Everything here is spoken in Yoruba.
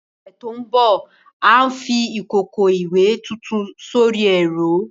Ní ọ̀sẹ̀ tó ń bọ̀, à ń fi ìkòkò ìwẹ̀ tuntun sórí ẹ̀rọ.